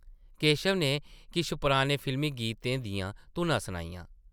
केशव नै किश पराने फिल्मी गीतें दियां धुनां सनाइयां ।